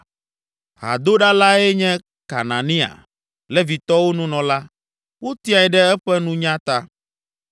Hadoɖalae nye Kenania, Levitɔwo Nunɔla; wotiae ɖe eƒe nunya ta.